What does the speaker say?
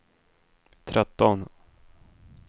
tretton